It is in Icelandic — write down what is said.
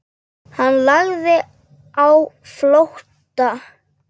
Hann lagði á flótta.